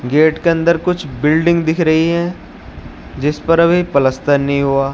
Gate के अंदर कुछ बिल्डिंग दिख रही हैं जिस पर अभी पलस्तर नहीं हुआ।